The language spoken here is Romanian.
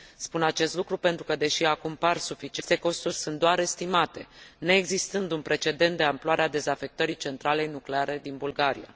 Spun acest lucru pentru că deși acum par suficiente, aceste costuri sunt doar estimate, neexistând un precedent de amploarea dezafectării centralei nucleare din Bulgaria.